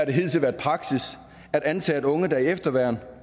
det hidtil været praksis at antage at unge der er i efterværn